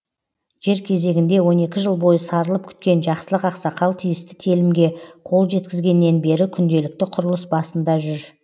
жер кезегінде он екі жыл бойы сарылып күткен жақсылық ақсақал тиісті телімге қол жеткізгеннен бері күнделікті құрылыс басында жүр